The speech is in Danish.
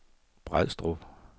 Brædstrup